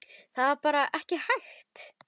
Það var bara ekki hægt.